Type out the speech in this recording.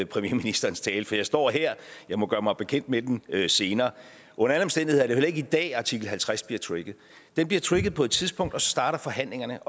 premierministerens tale for jeg står her jeg må gøre mig bekendt med den senere under alle omstændigheder er heller ikke i dag at artikel halvtreds bliver trigget den bliver trigget på et tidspunkt og så starter forhandlingerne